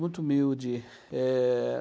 muito humilde. Eh...